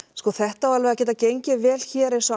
sko þetta á alveg að geta gengið vel hér eins og